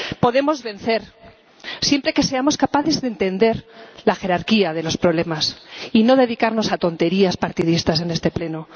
Podemos vencer siempre que seamos capaces de entender la jerarquía de los problemas y no nos dediquemos a tonterías partidistas en este Pleno.